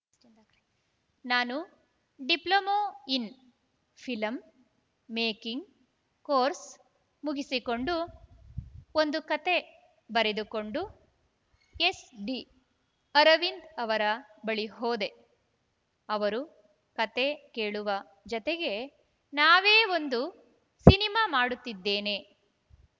ನಾನು diploma in film making course ಮುಗಿಸಿಕೊಂಡು ಒಂದು ಕತೆ ಬರೆದುಕಂಡು ಎಸ್‌ಡಿ ಅರವಿಂದ್‌ ಅವರ ಬಳಿ ಹೋದೆ ಅವರು ಕತೆ ಕೇಳುವ ಜತೆಗೆ ನಾವೇ ಒಂದು ಸಿನಿಮಾ ಮಾಡುತ್ತಿದ್ದೇನೆ